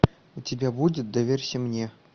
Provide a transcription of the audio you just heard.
у тебя будет доверься мне